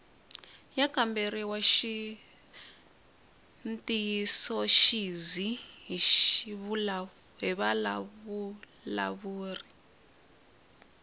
ya kamberiwa ntiyisoxidzi hi vavulavuri